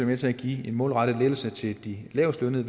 med til at give en målrettet lettelse til de lavestlønnede